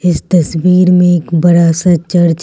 इस तस्वीर में एक बड़ा सा चर्च है।